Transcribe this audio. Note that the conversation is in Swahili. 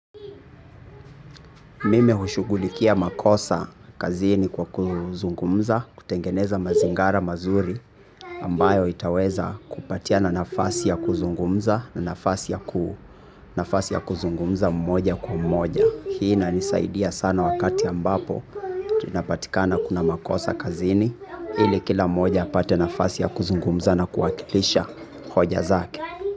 Mimi hushughulikia makosa kazini kwa kuzungumza, kutengeneza mazingara mazuri ambayo itaweza kupatiana nafasi ya kuzungumza na nafasi ya kuzungumza mmoja kwa mmoja. Hii inanisaidia sana wakati ambapo tunapatikana kuna makosa kazini ili kila mmoja apate nafasi ya kuzungumza na kuwakilisha hoja zake.